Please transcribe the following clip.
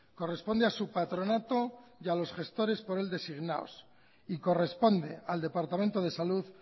corresponde a su patronato y a los gestores por él designados y corresponde al departamento de salud